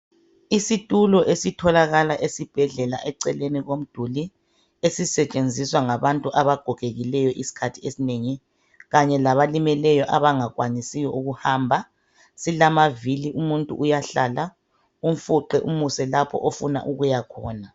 Isitulo esitholakala esibhedlela eceleni komduli esisetshinziswa ngabantu abagogekileyo isikhathi esinengi kanye labalimeleyo abangakwanisiyo ukuhamba silamavili umuntu uyahlala umfuqe umuse lapha ofuna ukuyakhona